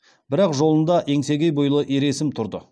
бірақ жолында еңсегей бойлы ер есім тұр